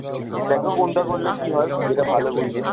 দেখো কনটা করলে কি হয়, যেটা ভালো বুঝবে।